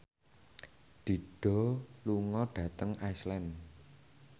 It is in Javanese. Dido lunga dhateng Iceland